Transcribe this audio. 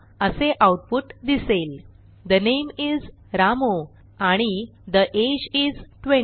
असे आऊटपुट दिसेल ठे नामे इस रामू आणि ठे अगे इस 20